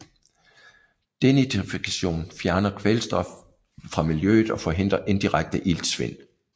Denitrifikation fjerner kvælstof fra miljøet og forhindrer indirekte Iltsvind